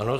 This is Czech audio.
Ano.